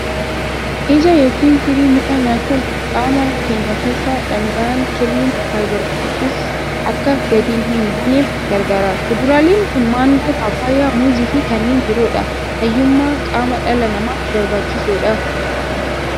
Ija yookiin firii mukaa nyaachuun qaama keenya keessaa dhaangaan kirriin (fiber foods) akka gadi hin buuneef gargaara. Kuduraaleen kun maangoo, paappaayyaa, muuzii fi kanneen biroodha. Fayyummaa qaama dhala namaaf barbaachisoodha.